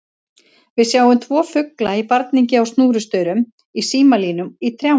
Við sjáum tvo fugla í barningi á snúrustaurum, í símalínum, í trjánum.